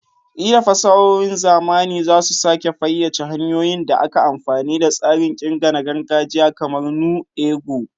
Ƙila fasahohin zamani za su sake fayyace hanyoyin da ake amfani da tsarin ƙirga na gargajiya kamar "nu ego".